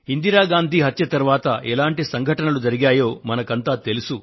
ఇందిరాగాంధీ హత్యానంతరం ఎటువంటి సంఘటనలు జరిగాయో మనకంతా తెలుసు